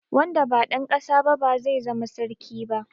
Wanda ba dan ƙasa ba ba zai zama sarki ba.